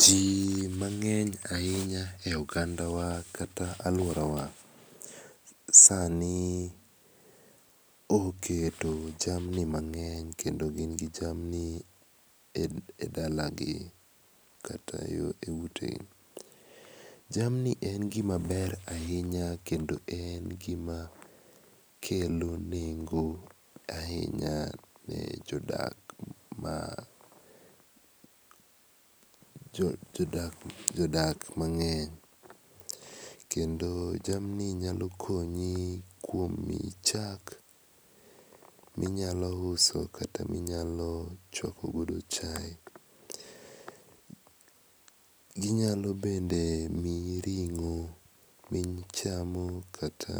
Ji mang'eny ahinya e ogandawa kata aluorawa sani oketo jamni mang'eny kendo gin gi jamni edalagi kata eutegi. Jamni en gima ber ahinya ke ndo en gima kelo nengo ahinya ne jodak ma jodak mang'eny kendo jamni nyalo konyi kuom miyi chak ma inyalo uso kata minyalo chuako godo chae. Ginyalo bende miyi ring'o michamo kata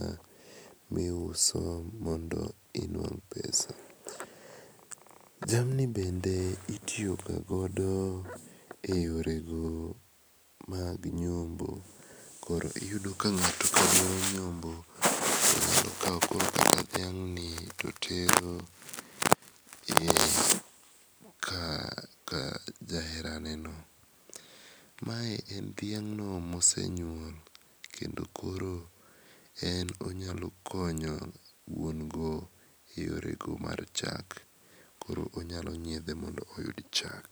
miuso mondo inuang' pesa. Jamni bende itiyo ga godo eyorego mag nyombo koro iyudo ka ng#ato ka dwaro nyombo to kawo dhiang'ni to tero ka jaheraneno. Ma dhiang' ma osenyuol koro en onyalo konyo wuon go eyore mar chak. Koro onyalo nyiedhe moyud chak.